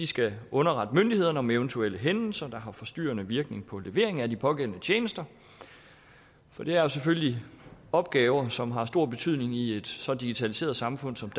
skal underrette myndighederne om eventuelle hændelser der har forstyrrende virkning på levering af de pågældende tjenester det er selvfølgelig opgaver som har stor betydning i et så digitaliseret samfund som